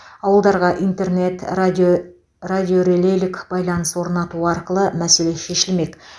ауылдарға интернет радио радиорелейлік байланыс орнату арқылы мәселе шешілмек